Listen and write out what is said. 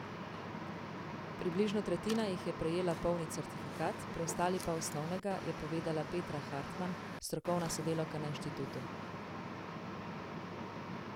Približno tretjina jih je prejela polni certifikat, preostali pa osnovnega, je povedala Petra Hartman, strokovna sodelavka na inštitutu.